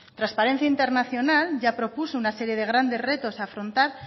trasparencia internacional ya propuso una serie de grandes retos afrontar